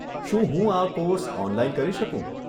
શું હું આ કોર્સ ઓનલાઈન કરી શકું?